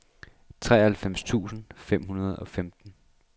treoghalvfems tusind fem hundrede og femten